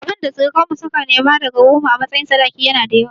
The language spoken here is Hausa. Abinda surukan mu suka nema daga wurin mu a matsayin sadaki yana da yawa